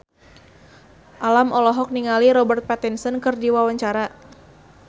Alam olohok ningali Robert Pattinson keur diwawancara